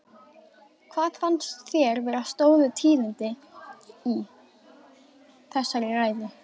Hvað fannst þér vera stóru tíðindin í, í þessari ræðu?